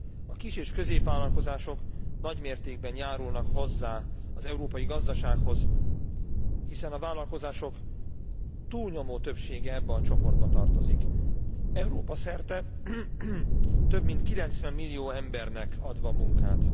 A kis és középvállalkozások nagymértékben járulnak hozzá az európai gazdasághoz, hiszen a vállalkozások túlnyomó többsége ebbe a csoportba tartozik, Európa szerte több mint 90 millió embernek adva munkát.